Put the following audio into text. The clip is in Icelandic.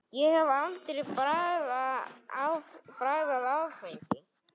Ég hef aldrei bragðað áfengi.